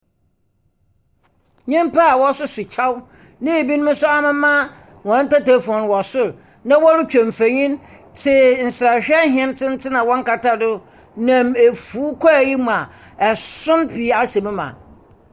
Nyimpa a wɔsoso kyɛw na binom nso amema hɔn tetefoon wɔ sor na woritwa mfonyin tse nserahwɛ tsentsen a wɔnnkata do nam efuw kwaa yi mu a ason pii ahyɛ mu ma.